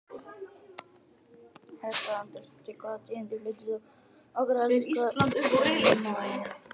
Edda Andrésdóttir: Hvaða tíðindi flytur þú okkur helst í kvöld Kristján Már?